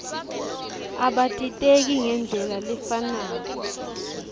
abatiteki ngendlela lefanako